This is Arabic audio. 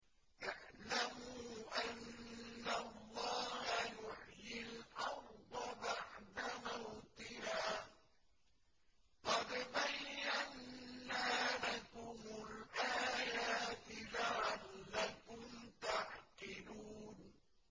اعْلَمُوا أَنَّ اللَّهَ يُحْيِي الْأَرْضَ بَعْدَ مَوْتِهَا ۚ قَدْ بَيَّنَّا لَكُمُ الْآيَاتِ لَعَلَّكُمْ تَعْقِلُونَ